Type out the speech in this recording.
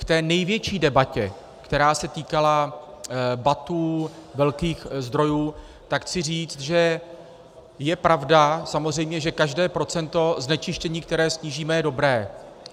K té největší debatě, která se týkala BATů velkých zdrojů, tak chci říct, že je pravda samozřejmě, že každé procento znečištění, které snížíme, je dobré.